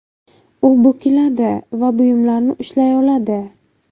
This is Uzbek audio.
U bukiladi va buyumlarni ushlay oladi.